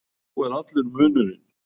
Sá er allur munurinn.